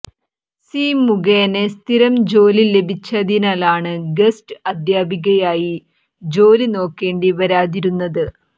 C മുഖേന സ്ഥിരം ജോലി ലഭിച്ചതിനാലാണ് ഗസ്റ്റ് അദ്ധ്യാപികയായി ജോലി നോക്കേണ്ടി വരാതിരുന്നത്